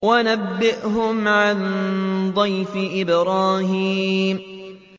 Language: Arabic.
وَنَبِّئْهُمْ عَن ضَيْفِ إِبْرَاهِيمَ